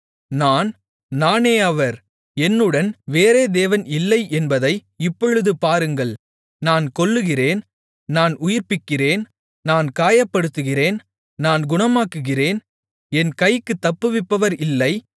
நான் நானே அவர் என்னுடன் வேறே தேவன் இல்லை என்பதை இப்பொழுது பாருங்கள் நான் கொல்லுகிறேன் நான் உயிர்ப்பிக்கிறேன் நான் காயப்படுத்துகிறேன் நான் குணமாக்குகிறேன் என் கைக்குத் தப்புவிப்பவர் இல்லை